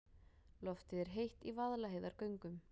Loftið er heitt í Vaðlaheiðargöngum.